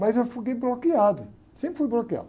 Mas eu fiquei bloqueado, sempre fui bloqueado.